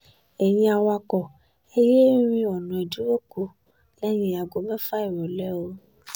ẹ̀yin awakọ̀ ẹ̀ yéé rin ọ̀nà ìdíròkọ lẹ́yìn aago mẹ́fà ìrọ̀lẹ́ o